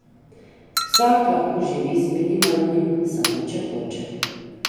Vsak lahko živi z minimalnim, samo če hoče.